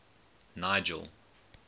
nigel